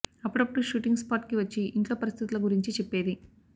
అప్పుడప్పుడు shooting spot కి వచ్చి ఇంట్లో పరిస్థితుల గురించి చెప్పేది